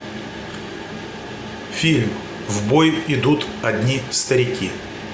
фильм в бой идут одни старики